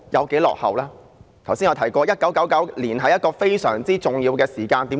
剛才有議員提過 ，1999 年是一個非常重要的時間，為甚麼呢？